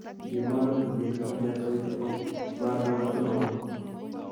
Ingemwa imanit kogibeton met soiti agot moru lang'atunoton.